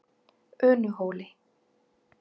Unuhóli